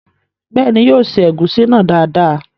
Bẹ́ẹ̀ni, yóò se ẹ̀gúsí náà dáadáa